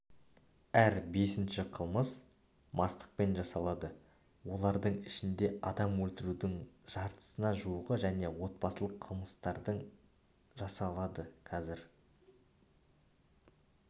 әр бесінші қылмыс мастықпен жасалады олардың ішінде адам өлтірудің жартысына жуығы және отбасылық қылмыстардың жасалады қазір